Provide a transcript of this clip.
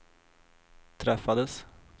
träffades